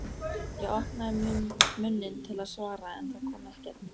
Ég opnaði munninn til að svara en það kom ekkert.